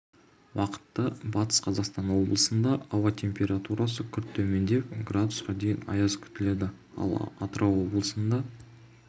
уақытта батыс қазақстан облысында ауа температурасы күрт төмендеп градусқа дейін аяз күтіледі ал атырау облысында